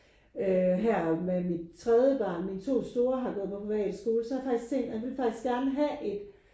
Øh her med mit tredje barn mine to store har gået på privatskole så har jeg faktisk set jeg vil faktisk gerne have et